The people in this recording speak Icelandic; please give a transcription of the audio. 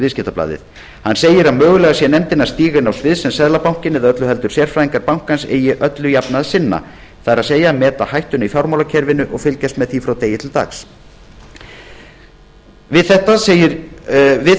viðskiptablaðið hann segir að mögulega sé nefndin að stíga inn á svið sem seðlabankinn eða öllu heldur sérfræðingar bankans eigi öllu jafna að sinna það er að meta hættuna í fjármálakerfinu og fylgjast með því dag frá degi við